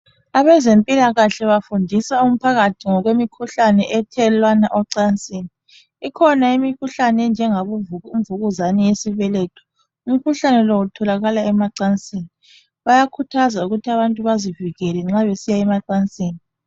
Abezempilakahle bafundisa umphakathi ngemikhuhlane ethelelwana kwezemacansini ikhona imikhuhlane enjangobo mvukuzane yesibeletho umkhuhlane lo utholakala emacansini bayakhuthaza ukuthi abantu bezivikele nxa besiya emacansini